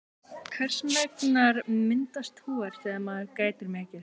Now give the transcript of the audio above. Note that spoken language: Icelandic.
hvers vegna myndast hor þegar maður grætur mikið